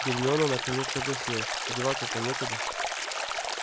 гермиона наконец согласилась деваться-то некуда